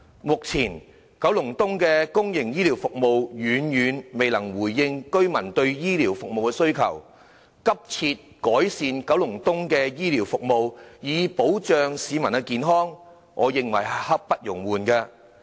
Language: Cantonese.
目前，九龍東的公營醫療服務遠遠未能回應居民對醫療服務的需求，改善九龍東的公營醫療服務以保障市民的健康，我認為是刻不容緩的。